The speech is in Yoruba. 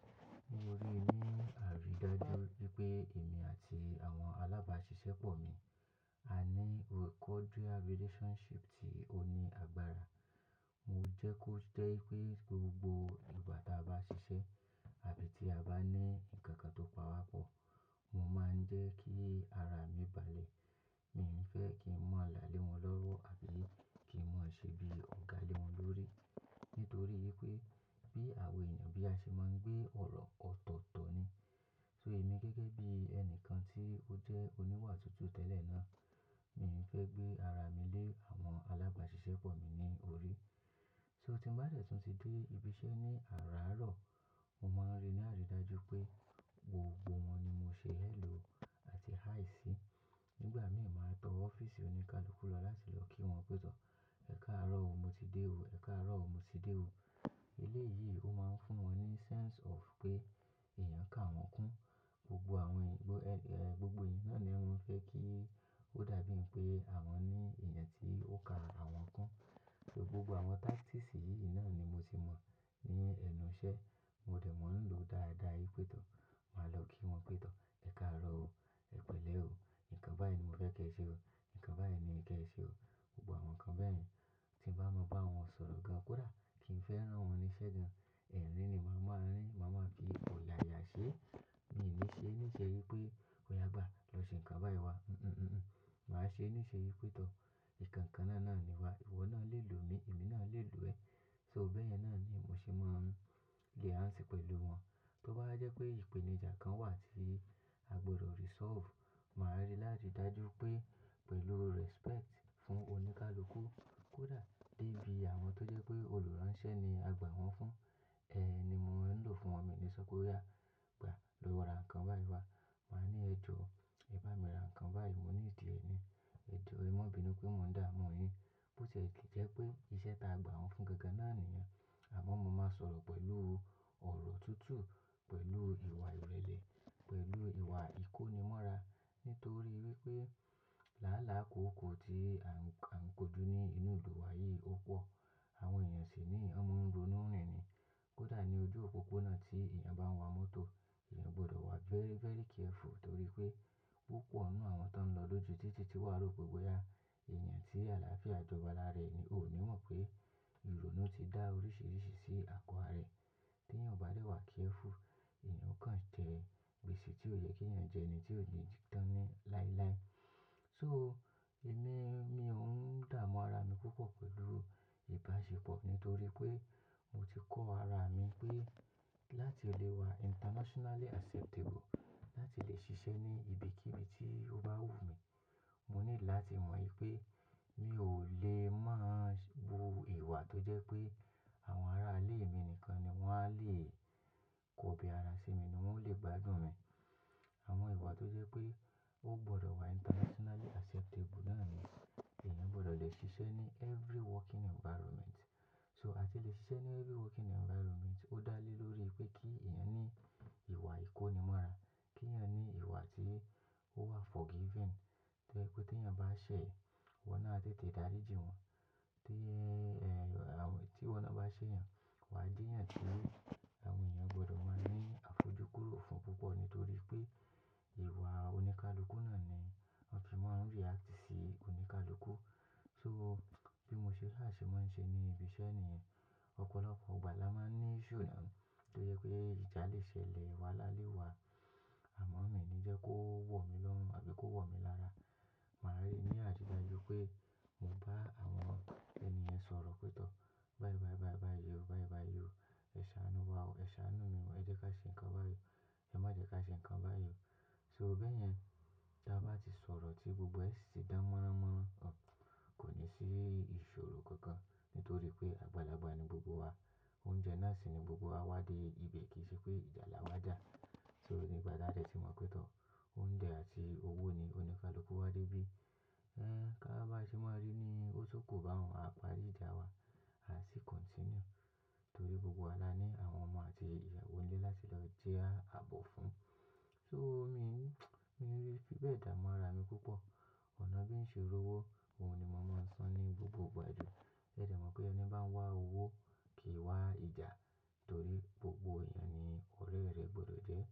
Ní orí mi, àríí dájú pé èmi àti àwọn alágbàṣiṣẹ́ pọ̀ mi a ní cordial relationship tí ó ní agbára. Mo jẹ́ kó jẹ́ ko jé ipé gbogbo ìgbà tí a bá ṣiṣẹ́ àbí tí a bá ní ǹkan kan tó pawapọ̀, mo máa ń jẹ́ kí ara mi balẹ̀. Mi ò ní fẹ́ kí n mọ lá lé wọn lọ́wọ́ àbí kí n mọ ṣe bí ọ̀gá lé wọn lórí. Nítorí ipé bí àwa èèyàn bí a ṣe máa ń gbé ọ̀rọ̀ ọ̀tọ̀otọ̀ ni. So, emi gege bi enikan ti o je oniwa tutu tele naa, mii fe gbe ara mi le awon alabasisepo mi ni ori. So, tin ba de tun ti de ibi ise ni araaro, mo mo n ri ni aridaju pe gbogbo won ni mo se "Hello" ati "Hi" si. Nígbà míì máa tọ ọ́fíìsì oníkálukú lọ láti lọ kí wọn pé tọ̀. "Ẹ̀kaàárọ̀ o, mo ti dé o. Ẹ̀kaàárọ̀ o, mo ti dé o." Eléyìí ó máa ń fún wọn ní sense of pé èèyàn ká wọn kún. Gbogbo àwọn ìgbó, eh, gbogbo èyan náà ni wọ́n fẹ́ kí ó dàbí pé àwọn ní ẹ̀yàn tí ó ka àwọn kún. So gbogbo àwọn tactics yìí náà ni mo ti mọ̀ ní ẹnu iṣẹ́. Mo dẹ̀ mọ̀ ń lò dáadáa. Ípétọ̀, màá lọ kí wọn pétọ̀. "Ẹ̀kaàárọ̀ o. Ẹ pẹ̀lẹ́ o. Ǹkan báyii ni mo fẹ́ kí ẹ ṣe o. Ǹkan bá yẹn ni kí ẹ ṣe o." Gbogbo àwọn nǹkan bẹ́ẹ̀ yẹn. Tí n bá mọ̀ bá wọn sọ̀rọ̀ gan kódà, kí n fẹ́ rán wọn ní sẹ́ gan, ẹ̀rín ni màá máa rán ni. Màá máa fi ọ̀yàyà ṣe é. Mi ò ní ṣe é níṣe wí pé, "Óyá gbàá, lọ ṣe ǹkan bá yẹn wá." un un un un. Màá ṣe é níṣe ípé tọ̀. Nkan kannaa naa ni wa, iwo naa le lo mi, emi naa le lo e. So bẹ́ẹ̀yen náà ni mo ṣe máa ń gain heart pẹ̀lú wọn. To ba wa je pe ipenija kan wa ti a gbodo resolve, maa ri laridaju wipe pelu respect fun onikaluku, koda debi awon to je pe oluranse ni a gba won fun, ni mo maan lo fun. Mi ò ní sọ pé, "Ó yá, gbàá, lọ ra ǹkan báyii wá." Màá ní, "Ẹ jọ, ẹ bá mi ra ǹkan báyii. Mo need ẹ ni. Ẹ jọ, ẹ má bínú pé mo ń dààmú ọ yín." Bó tie jẹ́ pé iṣẹ́ ta a gbà wọ́n fún gangan náà nìyẹn. Àmọ́ mo máa sọ̀rọ̀ pẹ̀lọ̀ ọ̀rọ̀ tutu, pẹ̀lú ìwà ìrẹ̀lẹ̀, pẹ̀lú ìwà ìkónimọ́ra. Nítorí wipé láàlá kòókòó tí à ń kojú ní inú ìlú wa yìí ó pọ̀. Awon eeyan si nii, won mo n ronu rin ni. Kódà ní ojú òpópónà tí èèyàn bá ń wa mọ́tò, èèyàn gbọdọ̀ wà very, very careful nítorí pé púpọ̀ nínú àwọn tó ń lọ lójú títì tí wà rópe wẹ́yà. Èèyàn tí àlàáfíà jọba lára rẹ̀ ni, ò ní mọ̀ pé irònú ti dá oríṣiríṣi sí àgọ́ ara rẹ̀. Tí èèyàn bá dẹ̀ wà careful, èèyàn ó kan jẹ gbẹse tí ó yẹ kí èèyàn jẹ́ ni tí ò ní tán ní láíláí. So, emi, mi on daamu ara mi pupo pelu ibasepo nitori pe mo ti ko ara mi pe, lati le wa internationally acceptable, lati le sise ni ibikibii to ba wu mi, mo need lati mo ipe mio le mo wu ìwà tó jẹ́ pé àwọn ará ilé mi nìkan ni wọ́n á lè kọ́bí ara ṣi mi ni wọ́n o lè gbádùn mi. Àmọ́ ìwà tó jẹ́ pé ó gbọdọ̀ wà internationally acceptable náà ni èèyàn gbọdọ̀ lè ṣiṣẹ́ ní every working environment. So àti lè ṣiṣẹ́ ní every working environment, ó dá lé lórí pé kí èèyàn ní ìwà ìkónimọ́ra. Kí èèyàn ní ìwà tí ó wà forgiving. To je pe teeyan ba se, iwo naa a tete dari jin won. Tí, eh, àwọn, tíwọ́ náà bá ṣé'yàn, wà á jeéyàn tí àwọn èèyàn gbọdọ̀ máa ní àfojúkúrò fún púpọ̀ nítorí pé ìwà oníkálukú náà ni wọ́n fi máa ń react sí oníkálukú. So bí mo ṣe sa ṣẹ máa ń ṣe ní ibi iṣẹ́ niyen, ọ̀pọ̀lọpọ̀ ìgbà la máa ń ní issue náà tí ó jẹ pé ìjà lè ṣẹlẹ̀ wáhalá lẹ́ wà. Àmọ́ mi ò ní jẹ́ kó wọ̀ mí lọ́run àbí kó wọ̀ mí lára. Màá rí ní àrídájú pé mo bá àwọn ènì yen sọ̀rọ̀ pétọ̀. "Báyii báyii báyii o. Báyii báyii o. Ẹ ṣáánú wá o. Ẹ ṣáánú mi o. E jẹ́ ká ṣe ǹkan báyii o. Ẹ má jẹ́ ká ṣe ǹkan bá yẹn o." so, beeyen ti a ba ti soro ti gbogbo e si ti dan moranmoran, ko ni si isoro kankan nitoripe agbalagba ni gbogbo wa. Oúnjẹ náà sì ni gbogbo wa wá dé ibi bẹ̀ kì í ṣe pé ìjà la wà dà. So nígbà tí a dẹ̀ ti mọ̀ pé tọ̀, oúnjẹ àti owó ni oníkálukú wá dé bí. Uhm, ka wa ba se maa ri ni o tun ku baun, a pari ija wa, a si continue, tori gbogbo wa la ni awon omo ati iyawo nle lati lo jabo fun So mi, mi fí i bẹ dààmú ara mi púpọ̀. Ona bi n se rowo, oun ni mo mo n san ni gbogbo igba ju. Ẹ dẹ̀ mọ̀ pé ẹni bá ń wá owó kì í wá ìjà torí gbogbo èèyàn ni òrè rẹ̀ gbọdọ̀ jé.